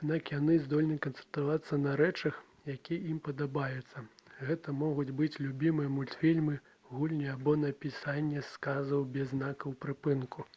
аднак яны здольны канцэнтравацца на рэчах якія ім падабаюцца гэта могуць быць любімыя мультфільмы гульні або напісанне сказаў без знакаў прыпынку